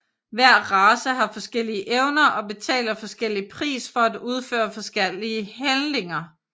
Hver race har forskellige evner og betaler forskellig pris for at udføre forskellige handlinger